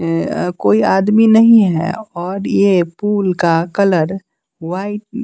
अ कोई आदमी नहीं है और यह पूल का कलर व्हाईट --